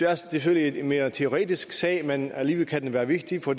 er selvfølgelig en mere teoretisk sag men alligevel kan den være vigtig for